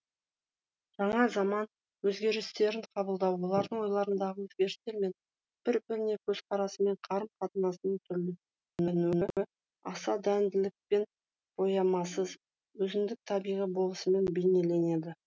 жаңа заман өзгерістерін қабылдау олардың ойларындағы өзгерістер мен бір біріне көзқарасы мен қарым қатынасының аса дәлдікпен боямасыз өзіндік табиғи болмысымен бейнеленеді